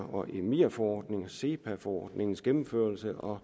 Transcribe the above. og emir forordningen og sepa forordningens gennemførelse og